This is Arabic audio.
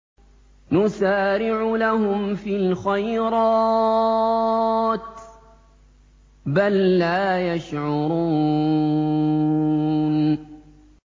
نُسَارِعُ لَهُمْ فِي الْخَيْرَاتِ ۚ بَل لَّا يَشْعُرُونَ